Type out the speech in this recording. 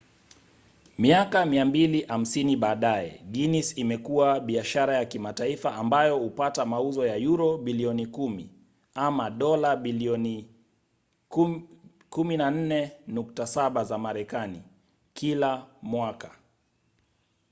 miaka 250 baadaye guinness imekua kuwa biashara ya kimataifa ambayo hupata mauzo ya yuro bilioni 10 dola bilioni 14.7 za marekani kila mwaka